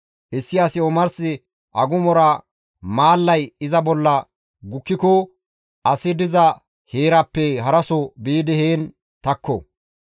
Issi asi omars agumora maallay iza bolla gukkiko asi diza heeraappe haraso biidi heen takko.